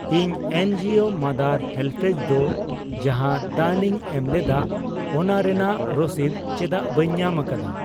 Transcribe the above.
ᱤᱧ ᱮᱱᱡᱤᱣᱳ ᱢᱟᱫᱟᱨ ᱦᱮᱞᱯᱮᱡ ᱫᱚ ᱡᱟᱦᱟᱸ ᱫᱟᱱᱤᱧ ᱮᱢᱞᱮᱫᱟ ᱚᱱᱟ ᱨᱮᱱᱟᱜ ᱨᱚᱥᱤᱫ ᱪᱮᱫᱟᱜ ᱵᱟᱹᱧ ᱧᱟᱢ ᱟᱠᱟᱫᱟ?